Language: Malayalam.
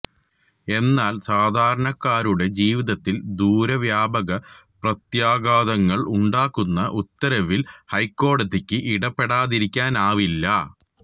എന്നാല് സാധാരണക്കാരുടെ ജീവിതത്തില് ദൂരവ്യാപക പ്രത്യാഘാതങ്ങള് ഉണ്ടാക്കുന്ന ഉത്തരവില് ഹൈക്കോടതിക്ക് ഇടപെടാതിരിക്കാനാവില്ല